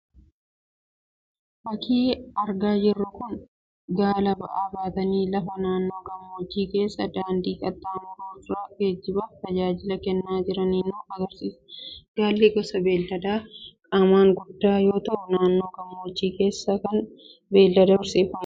Fakkiin argaa jirru kun, Gaala ba'aa baatanii lafa naannoo gammoojjii keessa daandii qaxxaamuru irra geejibaaf tajaajila kennaa jiranii nu agarsiisa. Gaalli gosa beeladaa qaamaan guddaa yoo ta'u, naannoo gammoojjii keessatti kan beelada horsiifamudha.